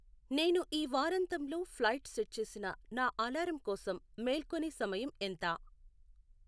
నేను ఈ వారాంతంలో ఫ్లైట్ సెట్ చేసిన నా అలారం కోసం మేల్కొనే సమయం ఎంత